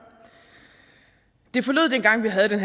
det forlød dengang vi havde den